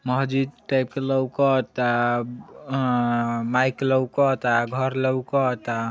महजीत type का लउक ता अअअ माइक लउक ता घर लउक ता।